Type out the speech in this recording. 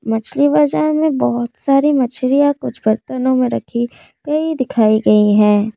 मछली बाजार में बहुत सारी मछलियां कुछ बर्तनों में रखी गई दिखाई गई हैं।